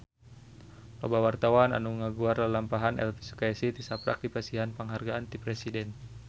Loba wartawan anu ngaguar lalampahan Elvy Sukaesih tisaprak dipasihan panghargaan ti Presiden